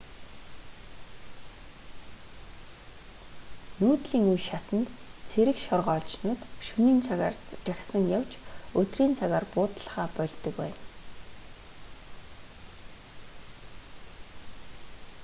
нүүдлийн үе шатанд цэрэг шоргоолжнууд шөнийн цагаар жагсан явж өдрийн цагаар буудаллахаа больдог байна